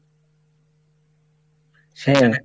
হ্যাঁ